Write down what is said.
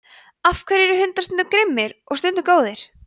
af hverju eru hundar stundum grimmir og stundum góðir